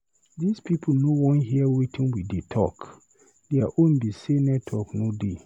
This people no Wan hear wetin we dey talk, their own be say network no dey.